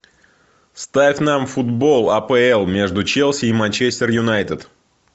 ставь нам футбол апл между челси и манчестер юнайтед